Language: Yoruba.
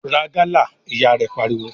"Ra gálà!", Ìyá rẹ̀ pariwo.